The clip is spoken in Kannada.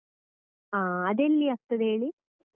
ಹ ಅದೇಲ್ಲಿ ಆಗ್ತದೆ ಹೇಳಿ.